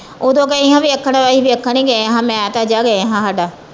ਓਦੋ ਗਈ ਹਾ ਵੇਖਣ ਅਸੀ ਵੇਖਣ ਹੀ ਗਏ ਹਾਂ ਮੈ ਤੇ ਤਾਜਾ ਗਏ ਹਾ ਹਾਡਾ।